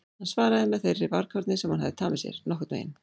Hann svaraði með þeirri varkárni sem hann hafði tamið sér: Nokkurn veginn